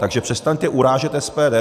Takže přestaňte urážet SPD.